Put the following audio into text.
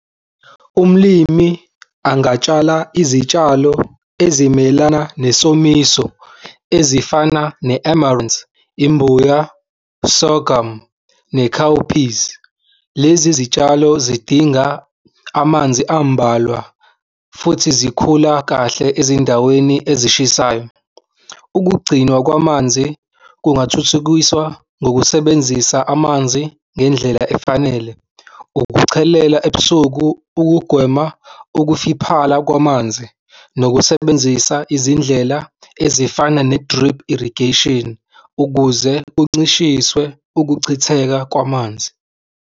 Umlimi angatshala izitshalo ezimelana nesomiso ezifana , imbuya, sorghum ne-cowpeas. Lezi zitshalo zidinga amanzi ambalwa futhi zikhula kahle ezindaweni ezishisayo. Ukugcinwa kwamanzi kungathuthukiswa ngokusebenzisa amanzi ngendlela efanele. Ukuchelela ebusuku ukugwema ukufiphala kwamanzi nokusebenzisa izindlela ezifana ne-drip irrigation ukuze kuncishiswe ukuchitheka kwamanzi.